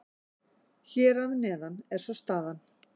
Hér að neðan er svo staðan.